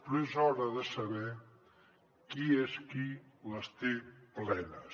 però és hora de saber qui és qui les té plenes